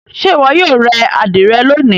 Ṣe iwọ yoo re adire loni?